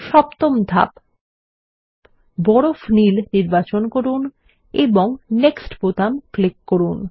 সপ্তম ধাপ বরফ নীল নির্বাচন করুন এবং নেক্সট বোতাম ক্লিক করুন